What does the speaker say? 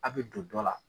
A' bɛ don dɔ la